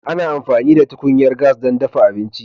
Ana amfani da tukunyar gas don dafa abinci.